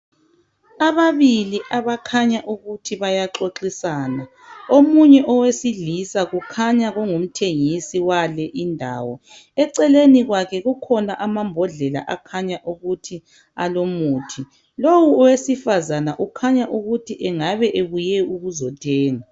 Ababili abakhanya ukuthi bayaxoxisana omunye owesilisa kukhanya kungumthengisi wale indawo. Eceleni kwakhe kukhona amambodlela akhanya ukuthi alomuthi. Lowu owesifazana ukhanya ukuthi engabe enguye ukuzothenga.